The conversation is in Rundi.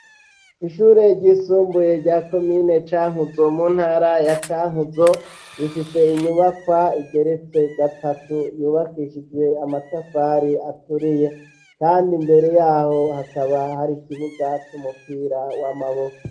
Ishuri ryisumbuye rya komine Cankuzo mu ntara ya Cankuzo rifise inyubakwa igeretse gatatu yubakishije amatafari aturiye kandi mbere yaho hakaba hari ikibuga c'umupira w'amaboko.